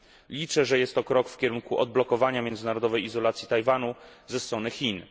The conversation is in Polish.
Liczę, że jest to krok w kierunku odblokowania międzynarodowej izolacji Tajwanu ze strony Chin.